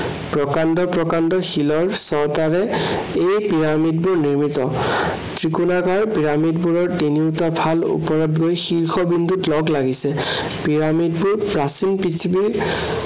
প্ৰকাণ্ড প্ৰকাণ্ড শিলৰ চটাৰে এই পিৰামিডবোৰ নিৰ্মিত। ত্ৰিকোণাকাৰ পিৰামিডবোৰৰ তিনিওটাফাল ওপৰত গৈ শীৰ্ষ বিন্দুত লগ লাগিছে। পিৰামিডবোৰ প্ৰচীন পৃথিৱীৰ